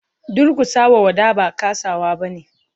Durkusa wa wada ba kasawa bane.